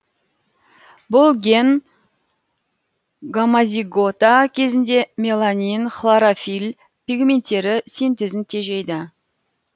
бұл ген гомозигота кезінде меланин хлорофилль пигменттері синтезін тежейді